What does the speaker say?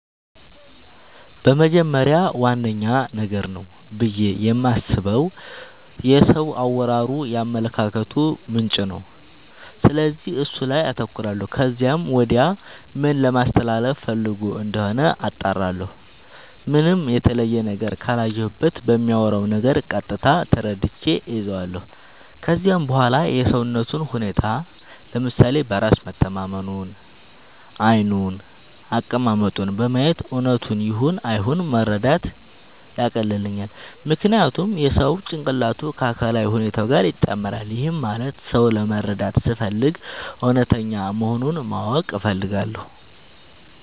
በመጀመሪያ ዋነኛ ነገር ነው ብዬ የማስበው የሰው አወራሩ የአመለካከቱ ምንጭ ነው፤ ስለዚህ እሱ ላይ አተኩራለው ከዚያም ወዲያ ምን ለማለስተላለፋ ፈልጎ እንደሆነ አጣራለሁ። ምንም የተለየ ነገር ካላየሁበት በሚያወራው ነገር ቀጥታ ተረድቼ እይዛለው። ከዚያም በዋላ የሰውነቱን ሁኔታ፤ ለምሳሌ በራስ መተማመኑን፤ ዓይኑን፤ አቀማመጡን በማየት እውነቱን ይሁን አይሁን መረዳት ያቀልልኛል። ምክንያቱም የሰው ጭንቅላቱ ከአካላዊ ሁኔታው ጋር ይጣመራል። ይህም ማለት ሰው ለመረዳት ስፈልግ እውነተኛ መሆኑን ማወቅ እፈልጋለው።